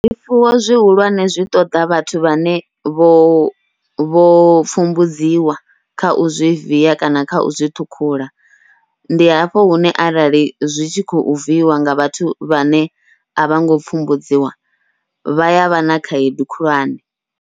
Zwifuwo zwihulwane zwi ṱoḓa vhathu vhane vho vho pfumbudziwa kha u zwi viya kana kha u zwi ṱhukhula, ndi hafho hune arali zwi tshi khou viiwa nga vhathu vhane a vhongo pfhumbudziwa vha yavha na khaedu khulwane.